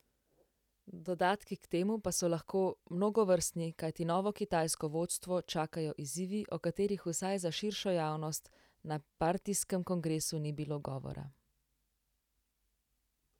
Dodatki k temu pa so lahko mnogovrstni, kajti novo kitajsko vodstvo čakajo izzivi, o katerih vsaj za širšo javnost na partijskem kongresu ni bilo govora.